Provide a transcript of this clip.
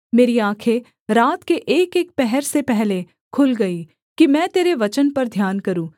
मेरी आँखें रात के एकएक पहर से पहले खुल गईं कि मैं तेरे वचन पर ध्यान करूँ